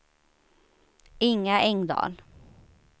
Inga Engdahl